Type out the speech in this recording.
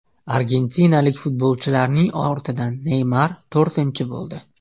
Argentinalik futbolchining ortidan Neymar to‘rtinchi bo‘ldi.